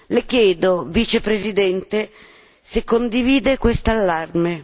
Le chiedo, Vicepresidente, se condivide questo allarme